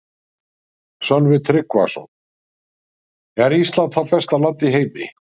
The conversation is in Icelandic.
Sölvi Tryggvason: Er Ísland þá besta land í heimi?